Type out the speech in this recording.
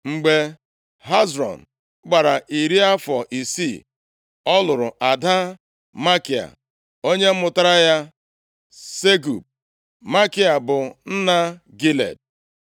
Mgbe Hezrọn gbara iri afọ isii, ọ lụrụ ada Makia onye mụtaara ya Segub. Makia bụ nna Gilead.